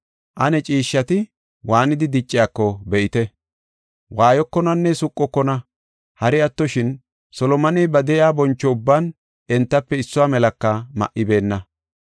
Ane ciishshati waanidi dicciyako be7ite. Waayokonanne suqokona. Hari attoshin, Solomoney ba de7iya boncho ubban entafe issuwa melaka ma7ibeenna.